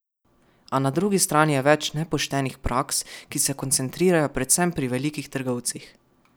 A na drugi strani je več nepoštenih praks, ki se koncentrirajo predvsem pri velikih trgovcih.